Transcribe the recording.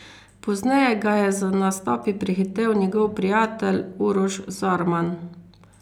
Pozneje ga je z nastopi prehitel njegov prijatelj Uroš Zorman.